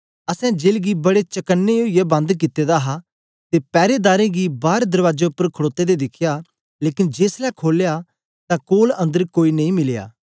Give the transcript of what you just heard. असैं जेल गी बडे चक्न्नें ओईयै बंद कित्ते दा हा ते पैरेदारें गी बार दरबाजें उपर खड़ोते दे दिखया लेकन जेसलै खोलया तां कोल अन्दर कोई नेई मिलया